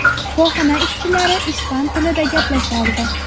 Shifoxona ishchilari ispan tilida gaplashardi.